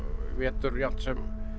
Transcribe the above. vetur jafnt sem